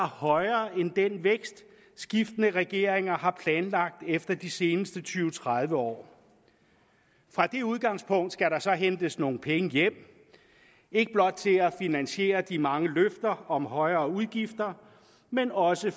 højere end den vækst skiftende regeringer har planlagt efter de seneste tyve til tredive år fra det udgangspunkt skal der så hentes nogle penge hjem ikke blot til at finansiere de mange løfter om højere udgifter men også